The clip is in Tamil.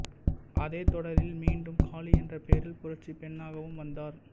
அதே தொடரில் மீண்டும் காளி என்ற பெயரில் புரட்சிப் பெண்ணாகவும் வந்தார்